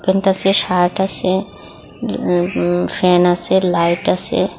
রুমটাতে shirt আসে উম উম ফ্যান আসে লাইট আসে ।